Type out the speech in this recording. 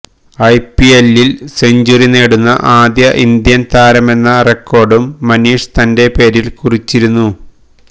ഐപിഎല്ലില് century നേടുന്ന ആദ്യ Indian താരമെന്ന റെക്കോര്ഡും മനീഷ് തന്റെ പേരില് കുറിച്ചിരുന്നു